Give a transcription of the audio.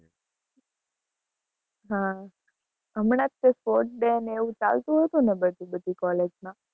હા, હમણાં જ તે sport day અને એવું ચાલતું હશે ને બધું બધી college માં